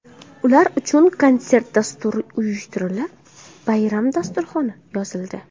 Ular uchun konsert dasturi uyushtirilib, bayram dasturxoni yozildi.